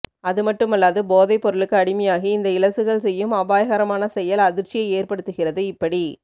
அதுமட்டுமல்லாது போதைப்பொருளுக்கு அடிமையாகி இந்த இளசுகள் செய்யும் அபாயகரமான செயல் அதிர்ச்சியை ஏற்படுத்துகிறது இப்படி